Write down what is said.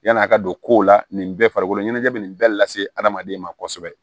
Yan'a ka don kow la nin bɛɛ farikolo ɲɛnajɛ bɛ nin bɛɛ lase adamaden ma kosɛbɛ